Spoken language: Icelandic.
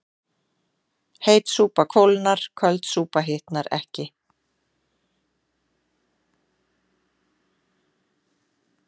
Heit súpa kólnar köld súpa hitnar ekki